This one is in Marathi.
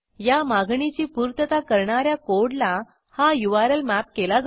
या मागणीची पूर्तता करणा या कोडला हा यूआरएल मॅप केला जातो